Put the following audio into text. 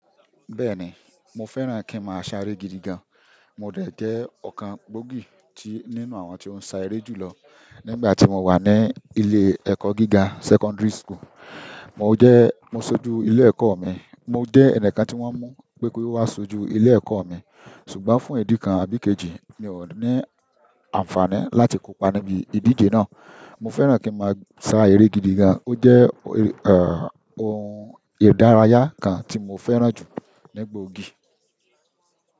Bẹ́ẹ̀ni, mo fẹ́ràn kí n má a ṣá eré gidi gan. Mo dẹ̀ jẹ́ ọ̀kan gbòógì nínú àwọn tí o ń sá eré jùlọ nígbà tí mo wà ní ilé ẹ̀kọ́ gíga secondary school. Mo sójú ilé ẹ̀kọ́ mi mo jé ẹni kan tí wọ́n mú pé kó wá ṣojú ilé ẹ̀kọ́ mi. Ṣùgbọ́n fún ìdí kan àbí kejì, mi ò ní àǹfààní láti kópa níbi ìdíje náà. Mo fẹ́ràn kí n má a sá eré gidi gan, ó jẹ́ ọ̀hún ìdárayá kan tí mo fẹ́ràn jù ní gbòógì.